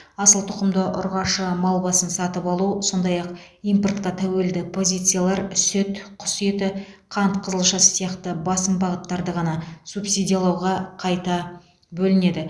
асыл тұқымды ұрғашы мал басын сатып алу сондай ақ импортқа тәуелді позициялар сүт құс еті қант қызылшасы сияқты басым бағыттарды ғана субсидиялауға қайта бөлінеді